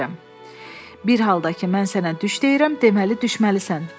Bir halda ki, mən sənə düş deyirəm, deməli düşməlisən.